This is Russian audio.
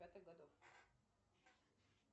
пятых годов